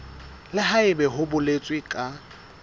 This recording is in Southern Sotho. le haebe ho boletswe ka